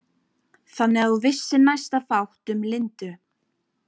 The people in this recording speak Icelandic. Þannig að þú vissir næsta fátt um Lindu?